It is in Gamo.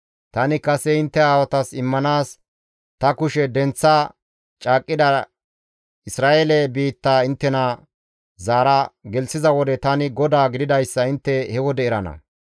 Tani kase intte aawatas immanaas ta kushe denththa caaqqida Isra7eele biitta inttena zaara gelththiza wode tani GODAA gididayssa intte he wode erana.